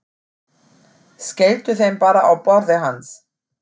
Skelltu þeim bara á borðið hans.